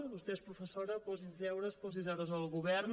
vostè és professora posi’ns deures posi deures al govern